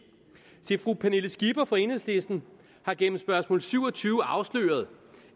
se fru pernille skipper fra enhedslisten har gennem spørgsmål syv og tyve afsløret